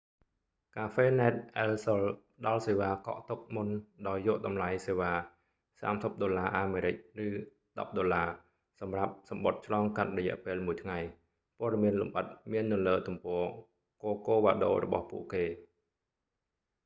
cafenet el sol ផ្ដល់​សេវា​កក់​ទុក​មុនដោយយក​តម្លៃសេវា​ us$30 ឬ $10 សម្រាបសំបុត្រ​​ឆ្លង​កាត់​រយៈ​ពេល​មួយ​ថ្ងៃ​។ ព័ត៌មាន​លម្អិត​មាន​នៅ​លើ​ទំព័រ​ corcovado របស់​ពួកគេ​។